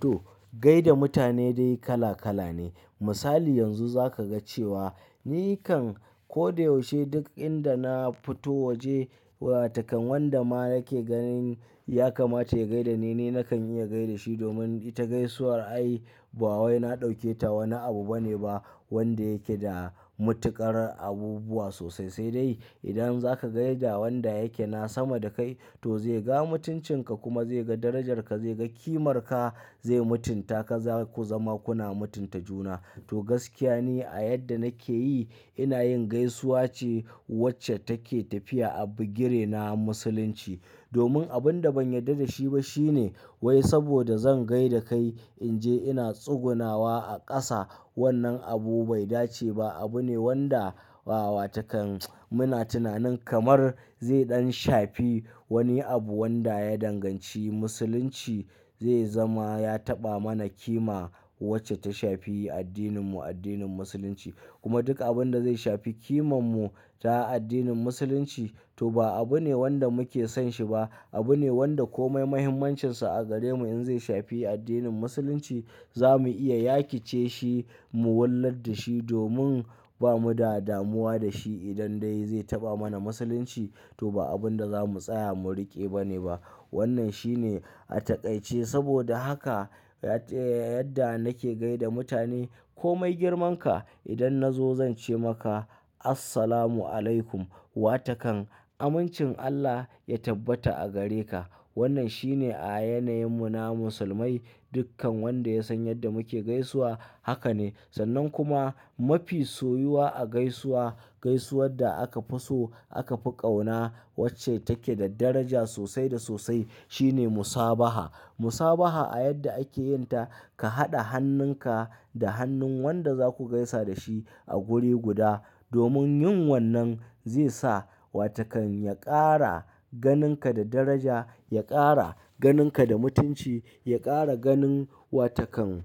To, gaida mutane dai kala kala ne. Misali yanzu za ka ga cewa ni kan ko da yaushe duk inda na fito waje wata kan wanda ma nake ganin ya kamata ya gaida ni ne, nakan iya gaishe da shi domin ita gaisuwar ai ba wai na ɗauke ta wani abu bane ba wanda yake da matuƙar abubuwa sosai. Sai dai idan zaka gaishe da wanda yake na sama da kai to zai ga mutuncin ka kuma zai ga darajarka, zai ga kimarka, zai mutunta ka, za ku zama kuna mutunta juna. To gaskiya ni a yadda nake yi ina yin gaisuwa ce wacce take tafiya a bugire na Musulunci. Domin abin da ban yarda da shi ba shine wai saboda zan gaida kai in je ina tsugunawa a ƙasa. Wannan abu bai dace ba, abu ne wanda wata kan muna tunanin kamar zai ɗan shafi wani abu wanda ya danganci Musulunci zai zama ya taɓa mana kima wacce ta shafi addininmu, addinin Musulunci. Kuma duk abin da zai shafi kimanmu ta addinin Musulunci to ba abu ne wanda muke son shi ba. Abu ne wanda komai muhimmancinsa a gare mu in zai shafi addinin Musulunci za mu iya yaƙe ce shi mu wallar da shi domin ba mu da damuwa da shi. Idan dai zai taɓa mana Musulunci to ba abin da za mu tsaya mu riƙe ba ne ba. Wannan shine a taƙaice. Saboda haka yadda nake gaida mutane, komai girman ka idan na zo zan ce maka Assalamu alaikum, wata kan amincin Allah ya tabbata a gare ka. Wannan shine a yanayin mu na Musulmai. Dukkan wanda ya san yadda muke gaisuwa haka ne. Sannan kuma mafi soyuwa a gaisuwa, gaisuwar da aka fi so aka fi ƙauna wacce take da daraja sosai da sosai shine musabaha. Musabaha a yadda ake yin ta ka haɗa hannun ka da hannun wanda za ku gaisa da shi a guri guda. Domin yin wannan zai sa wata kan ya ƙara ganin ka da daraja, ya ƙara ganin ka da mutunci, ya ƙara ganin wata kan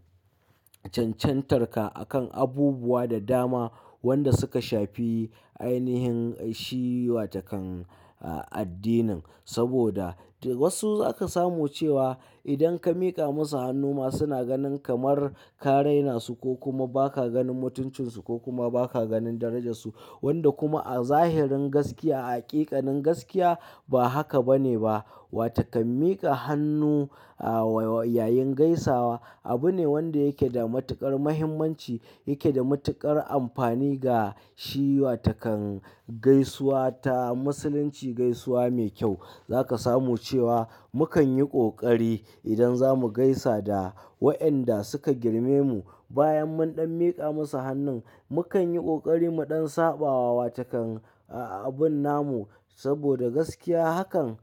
cancantar ka a kan abubuwa da dama wanda suka shafi ainihin shi wata kan addinin. Saboda wasu za ka samu cewa idan ka miƙa musu hannu ma suna ganin kamar ka rainasu ko kuma ba ka ganin mutuncinsu ko kuma ba ka ganin darajarsu. Wanda kuma a zahirin gaskiya, a hakikanin gaskiya ba haka ba ne ba. Wata kan miƙa hannu a yayin gaisawa abu ne wanda yake da matuƙar muhimmanci, yake da matuƙar amfani ga shi wata kan gaisuwa ta Musulunci, gaisuwa mai kyau. Za ka samu cewa mu kan yi ƙoƙari idan za mu gaisa da waɗanda suka girme mu bayan mun ɗan miƙa musu hannun mu kan yi ƙoƙari mu ɗan saɓawa wata kan abin namu. Saboda gaskiya hakan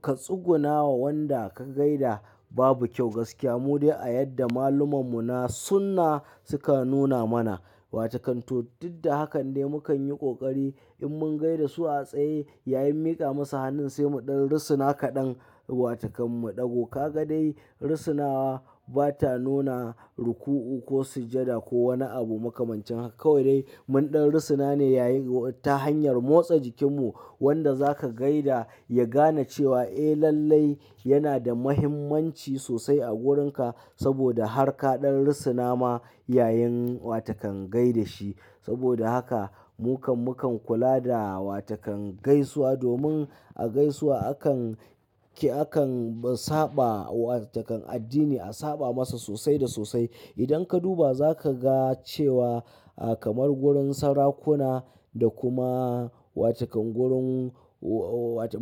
ka tsuguna wa wanda ka gaida babu kyau gaskiya. Mu dai a yadda maluman mu na sunna suka nuna mana wata kan to duk da haka dai mu kan yi ƙoƙari in mun gaida su a tsaye yayin miƙa musu hannun sai mu ɗan rusuna kaɗan wata kan mu ɗago. Ka ga dai rusunawa bata nuna ruku'u ko sujjada ko wani abu makamancin haka. Kawai dai mun ɗan rusuna ne yayin ta hanyar motsa jikinmu wanda za ka gaida ya gane cewa eh lallai yana da muhimmanci sosai a wurin ka saboda har ka ɗan rusuna ma yayin wata kan gaida shi. Saboda haka mu kam mu kan kula da wata kan gaisuwa domin a gaisuwa akan ki, akan saba wata kan addini a saba masa sosai da sosai. Idan ka duba za ka ga cewa kamar wurin sarakuna da kuma wata kan wurin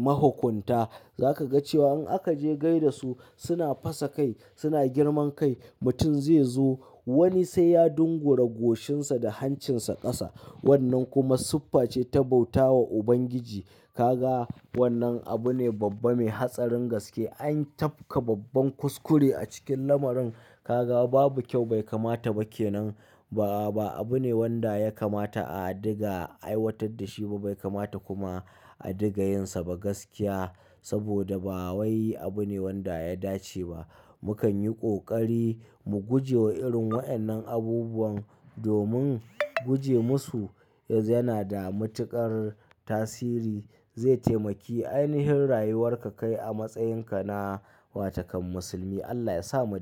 mahukunta za ka ga cewa in aka je gaida su suna fasa kai, suna girman kai. Mutum zai zo wani sai ya dungura goshinsa da hancinsa ƙasa. Wannan kuma siffa ce ta bauta wa Ubangiji. Ka ga wannan abu ne babba mai hatsarin gaske. An tafka babban kuskure a cikin lamarin. Ka ga babu kyau, bai kamata ba ke nan ba. Abu ne wanda ya kamata a diga, a aiwatar da shi ba, bai kamata kuma a diga yin sa ba gaskiya. Saboda ba wai abu ne wanda ya dace ba. Mu kan yi ƙoƙari mu guje wa irin waɗannan abubuwan domin guje musu yana da matuƙar tasiri. Zai taimaki ainihin rayuwar ka kai a matsayin ka na wata kan musulmi. Allah yasa mu ci.